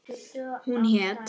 Hún hét